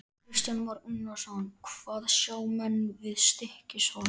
Kristján Már Unnarsson: Hvað sjá menn við Stykkishólm?